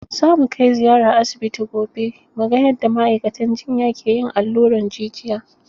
Za mu kai ziyara asibiti gobe mu ga yadda ma'aikatan jinya ke yin allurar jijiya.